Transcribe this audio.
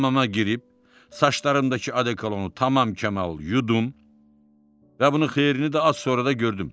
Hamama girib, saçlarımdakı odekolonu tamam-kamal yudum və bunun xeyrini də az sonra da gördüm.